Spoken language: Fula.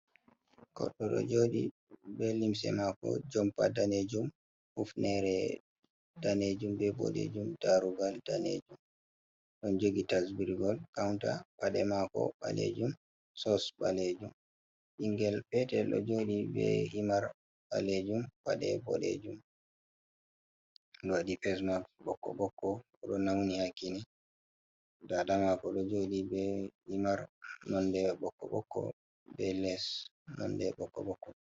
Goɗɗo ɗo jooɗi, be limse maako jompa daneejum, hufneere daneejum be boɗeejum, daarugal daneejum, ɗon jogi tasbirgol kawunta, pade maako ɓaleejum, soos ɓaleejum. Ɓningel peetel ɗoo jooɗi, be himar ɓaleejum, paɗe boɗeejum, ɗo waɗi fes maks ɓokko ɓokko. Ɗo nawni haa kiine, daada maako ɗo joooɗi, be himar nonde ɓokko ɓokko, be lees nonde ɓokko ɓokko.